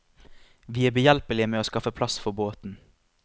Vi er behjelpelig med å skaffe plass for båten.